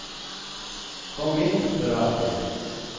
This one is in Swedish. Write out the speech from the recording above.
Kom in, för all del.